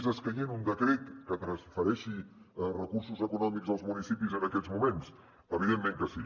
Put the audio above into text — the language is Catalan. és escaient un decret que transfereixi recursos econòmics als municipis en aquests moments evidentment que sí